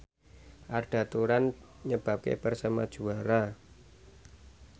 Arda Turan nyebabke Persema juara